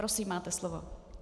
Prosím, máte slovo.